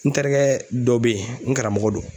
N terikɛ dɔ bɛ ye n karamɔgɔ do.